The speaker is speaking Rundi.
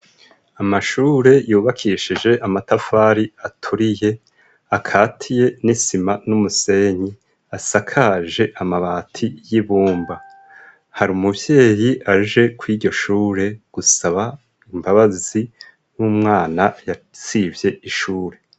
Amashure yubakishije amatafari aturiye, akatiye n'isima n'umusenyi asakaje amabati y'ibumba. Hari umuvyeyi aje kw'iryo shure gusaba imbabazi, w'umwana yasivye ishure.